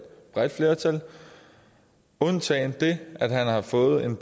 bredt flertal undtagen det at han har fået en